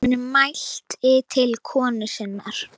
Hann mælti til konu sinnar: